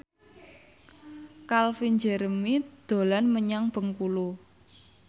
Calvin Jeremy dolan menyang Bengkulu